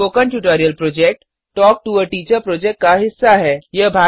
spoken tutorial project talk to a teacher project का हिस्सा है